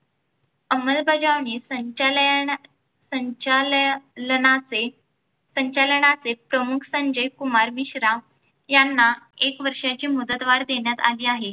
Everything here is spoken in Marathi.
अंमलबजावणी संचालया संचालया संचालनाचे संचालनाचे प्रमुख संजय कुमार मिश्रा यांना एक वर्षाची मुदतवाढ देण्यात आली आहे.